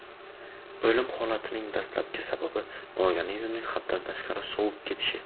O‘lim holatlarining dastlabki sababi organizmning haddan tashqari sovib ketishi.